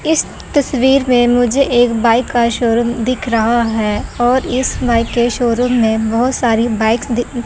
इस तस्वीर में मुझे एक बाइक का शोरूम दिख रहा है और इस बाइक के शोरूम में बहोत सारी बाइक दि दि--